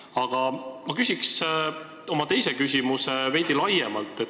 Aga ma esitan oma teise küsimuse veidi laiemalt.